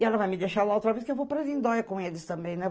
E ela vai me deixar lá outra vez, que eu vou para Lindóia com eles também, né?